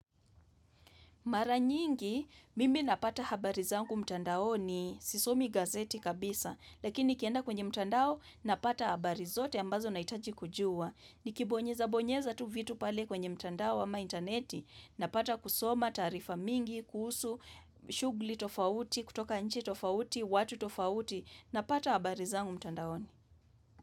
Mara nyingi, mimi napata habari zangu mtandaoni, sisomi gazeti kabisa, lakini nikienda kwenye mtandao, napata habari zote ambazo nahitaji kujua. Nikibonyeza bonyeza tu vitu pale kwenye mtandao ama intaneti, napata kusoma taarifa mingi, kuhusu, shugli tofauti, kutoka nchi tofauti, watu tofauti, napata habari zangu mtandaoni.